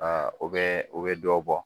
Aa o bɛ o bɛ dɔ bɔ